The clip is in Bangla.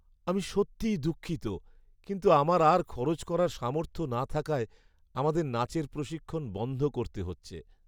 আমি সত্যিই দুঃখিত কিন্তু আমার আর খরচ করার সামর্থ্য না থাকায় আমাদের নাচের প্রশিক্ষণ বন্ধ করতে হচ্ছে।